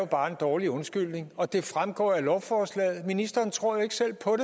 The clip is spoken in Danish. bare en dårlig undskyldning og det fremgår også af lovforslaget ministeren tror jo ikke selv på